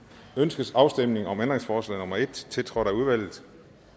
ønskes afstemning om ændringsforslag nummer en tiltrådt af udvalget